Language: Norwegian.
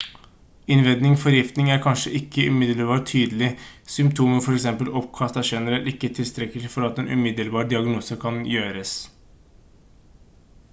innvendig forgiftning er kanskje ikke umiddelbart tydelig symptomer for eksempel oppkast er generelt ikke tilstrekkelig for at en umiddelbar diagnose kan gjøres